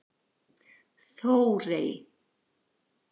Þórey